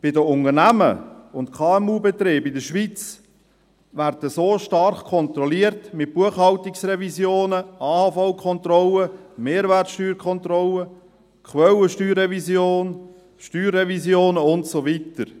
Die Unternehmen und KMU in der Schweiz werden so stark kontrolliert, mit Buchhaltungsrevisionen, AHV-Kontrollen, Mehrwertsteuerkontrollen, Quellensteuerrevisionen, Steuerrevisionen und so weiter.